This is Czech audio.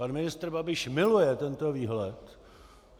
Pan ministr Babiš miluje tento výhled.